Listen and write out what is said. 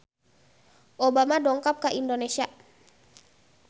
Obama dongkap ka Indonesia